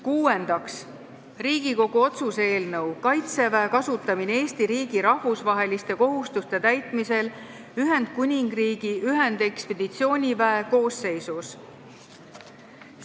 Kuuendaks, Riigikogu otsuse "Kaitseväe kasutamine Eesti riigi rahvusvaheliste kohustuste täitmisel Ühendkuningriigi ühendekspeditsiooniväe koosseisus" eelnõu.